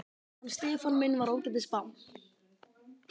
Hann Stefán minn var ágætis barn.